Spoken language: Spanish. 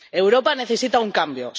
Europa necesita un cambio.